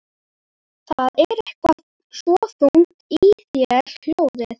Það er eitthvað svo þungt í þér hljóðið.